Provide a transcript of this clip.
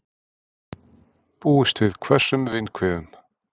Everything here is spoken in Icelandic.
Búist við hvössum vindhviðum